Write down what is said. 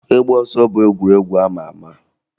Ịgba ọsọ bụ egwuregwu a ma ama